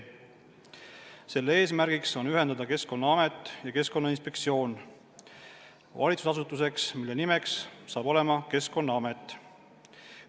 Selle eesmärk on ühendada Keskkonnaamet ja Keskkonnainspektsioon valitsusasutuseks, mille nimeks saab olema Keskkonnaamet.